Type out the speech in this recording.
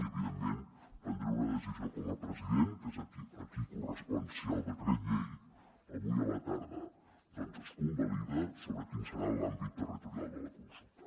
i evidentment prendré una decisió com a president que és a qui correspon si el decret llei avui a la tarda doncs es convalida sobre quin serà l’àmbit territorial de la consulta